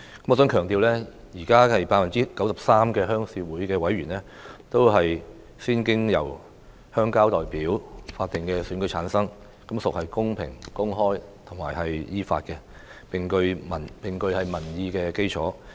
我想強調，現時 93% 的鄉事會委員都是經由鄉郊代表的法定選舉產生，是公平、公開和依法的，並具有民意基礎。